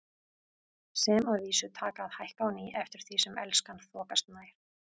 Sem að vísu taka að hækka á ný eftir því sem Elskan þokast nær.